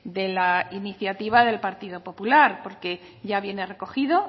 de la iniciativa del partido popular porque ya viene recogido